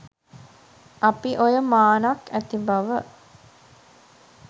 අපි ඔය මානක් ඇති බව